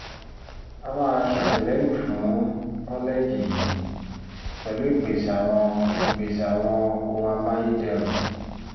a máa ṣàtìlẹ́yìn fún kọ́lẹ́ẹ̀jì yìí pẹ̀lú ìpèsè àwọn ìpèsè àwọn ohun amáyédẹrùn